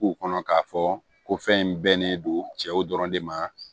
K'u kɔnɔ k'a fɔ ko fɛn in bɛnnen don cɛw dɔrɔn de ma